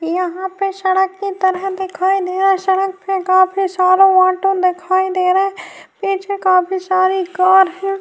یہا پر سڈک کی طرح دکھائی دے رہا ہے۔ سڈک پی کافی سارا آٹو دکھائی دے رہا ہے۔ پیچھے کافی ساری کار ہے۔